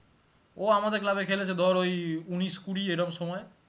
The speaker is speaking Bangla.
ও আমাদের club এ খেলেছে ধরে উনিশ কুড়ি এরম সময়ে